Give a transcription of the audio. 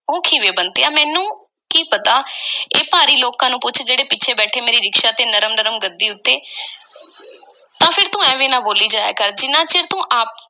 ਉਹ ਕਿਵੇਂ, ਬੰਤਿਆ? ਮੈਨੂੰ ਕੀ ਪਤਾ, ਇਹ ਭਾਰੀ ਲੋਕਾਂ ਨੂੰ ਪੁੱਛ, ਜਿਹੜੇ ਪਿੱਛੇ ਬੈਠੇ ਮੇਰੀ ਰਿਕਸ਼ਾ ਦੀ ਨਰਮ-ਨਰਮ ਗੱਦੀ ਉੱਤੇ। ਤਾਂ ਫੇਰ ਤੂੰ ਐਵੇਂ ਨਾ ਬੋਲੀ ਜਾਇਆ ਕਰ, ਜਿੰਨਾ ਚਿਰ ਤੂੰ ਆਪ